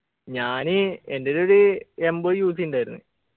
ഞാൻ എൻ്റെൽ ഒരു എൺപത് UC ണ്ടായിരുന്ന്